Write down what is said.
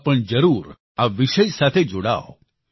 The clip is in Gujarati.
આપ પણ જરૂર આ વિષય સાથે જોડાવ